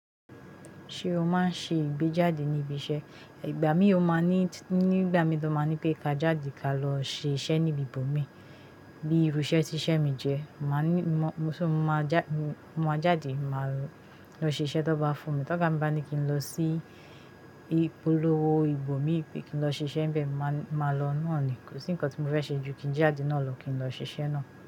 Ṣé o máa ń ṣe ìgbéjáde ní ibi iṣẹ́? Ìgbà mí ó máa ní, nígbà mi tó máa ní pé ká jáde ká lọ ṣe iṣẹ́ ní ibi ibòmí bí irú iṣẹ́ tí iṣẹ́ mi jẹ́, màá ní, mo sì máa já, mo máa jáde, màá lọ ṣe iṣẹ́ tí wọ́n bá fún mi. Tí oga mi bá ní kí n lọ sí ìpolówó ibòmí pé kí n lọ ṣe iṣẹ́ níbẹ̀, màá, màá lọ náà ni. Kò sí nǹkan tí mo fẹ́ ṣe ju kí n jáde náà lọ kí n lọ ṣe iṣẹ́ náà.